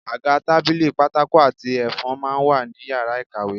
Àga, tábìlì, pátákó àti ẹfun máa ń wà ní yàrá ìkàwé